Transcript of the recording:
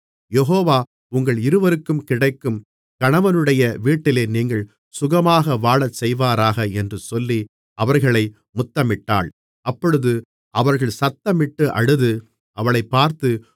யெகோவா உங்கள் இருவருக்கும் கிடைக்கும் கணவனுடைய வீட்டிலே நீங்கள் சுகமாக வாழச் செய்வாராக என்று சொல்லி அவர்களை முத்தமிட்டாள் அப்பொழுது அவர்கள் சத்தமிட்டு அழுது அவளைப் பார்த்து